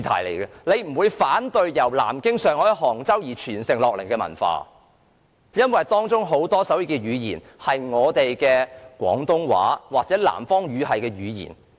大家是不會反對由南京、上海及杭州傳承而來的文化，因為手語是承襲自廣東話或南方語系的語言。